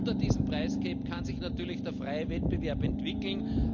Unter diesem price cap kann sich natürlich der freie Wettbewerb entwickeln.